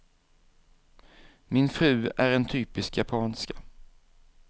Min fru är en typisk japanska.